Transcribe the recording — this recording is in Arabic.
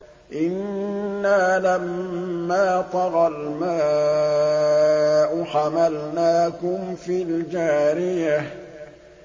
إِنَّا لَمَّا طَغَى الْمَاءُ حَمَلْنَاكُمْ فِي الْجَارِيَةِ